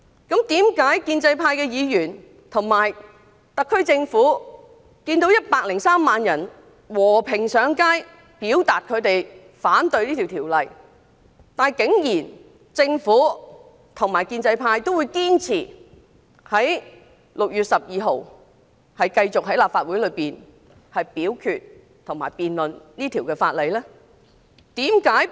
建制派議員和特區政府看到103萬人和平上街表達反對這條例草案的意見，為何仍堅持在6月12日立法會大會上繼續就這條例草案進行審議及表決？